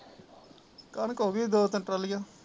ਕਣਕ ਹੋਗੀ ਦੋ ਤਿੰਨ ਟਰਾਲੀਆ